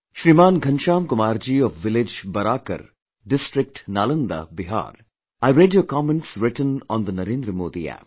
Shriman Ghanshyam Kumar ji of Village Baraakar, District Nalanda, Bihar I read your comments written on the Narendra Modi App